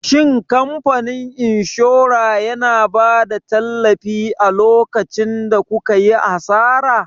Shin kamfanin inshora yana bada tallafi a lokacin da kukayi asara?